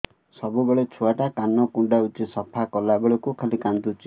ସବୁବେଳେ ଛୁଆ ଟା କାନ କୁଣ୍ଡଉଚି ସଫା କଲା ବେଳକୁ ଖାଲି କାନ୍ଦୁଚି